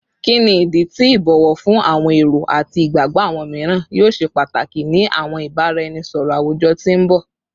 Kini idi ti ibowo fun awọn ero ati igbagbọ awọn miiran yoo ṣe pataki ni awọn ibaraenisọrọ awujọ ti n bọ?